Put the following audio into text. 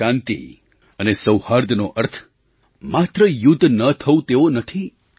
આજે શાંતિ અને સૌહાર્દનો અર્થ માત્ર યુદ્ધ ન થવું તેવો નથી